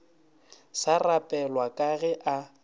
sa rapelwa ka ge a